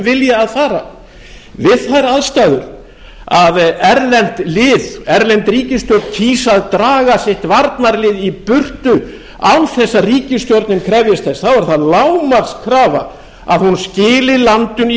vilja að fara við þær aðstæður að erlend ríkisstjórn kýs að draga sitt varnarlið í burtu án þess að ríkisstjórnin krefjist þess þá er það lágmarkskrafa að hún skili landinu í